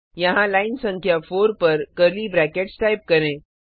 यहाँ लाइन संख्या 4 पर कर्ली ब्रैकेट्स टाइप करें